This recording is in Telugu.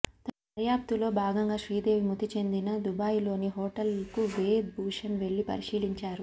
తన దర్యాప్తులో భాగంగా శ్రీదేవి మృతి చెందిన దుబాయిలోని హోటల్ కు వేద్ భూషణ్ వెళ్లి పరిశీలించారు